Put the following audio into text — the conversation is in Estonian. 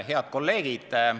Head kolleegid!